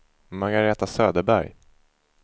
Margaretha Söderberg